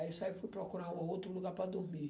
Aí eu saí, fui procurar um outro lugar para dormir.